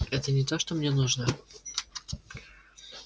это не то что мне нужно